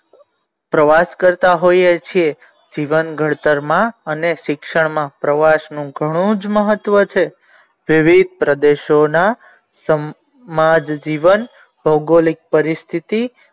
પ્રવાસ કરતા હોઈ છીએ જીવન ઘડતર માં અને શિક્ષણ માં પ્રવાસ નું ઘણું જ મહત્વ છે તેવી પ્રદેશો ના સમાજ જીવન ભૌગોલિક પરિસ્થિતિ.